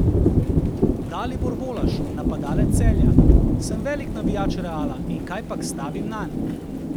Dalibor Volaš, napadalec Celja: 'Sem velik navijač Reala in kajpak stavim nanj.